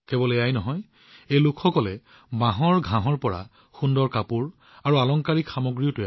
কেৱল এয়াই নহয় এই লোকসকলে বাঁহৰ পৰা সুন্দৰ কাপোৰ আৰু সজ্জাও প্ৰস্তুত কৰে